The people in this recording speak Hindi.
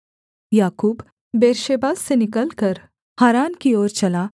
याकूब बेर्शेबा से निकलकर हारान की ओर चला